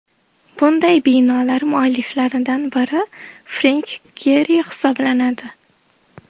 Bunday binolar mualliflaridan biri Frenk Geri hisoblanadi.